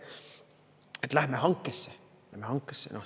Et lähme hankesse, lähme hankesse.